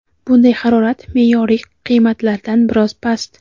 bunday harorat me’yoriy qiymatlardan biroz past.